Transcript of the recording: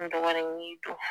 Dɔgɔnin